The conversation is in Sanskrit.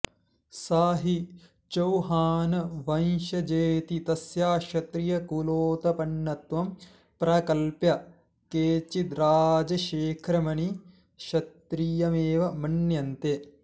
सा हि चौहानवंशजेति तस्या क्षत्रियकुलोत्पन्नत्वं प्रकल्प्य केचिद्राजशेखरमपि क्षत्रियमेव मन्यन्ते